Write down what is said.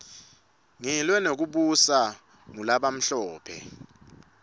ngilwe nekubuswa ngulabamhlophe